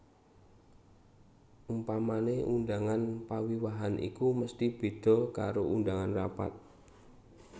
Umpamane undangan pawiwahan iku mesti beda karo undangan rapat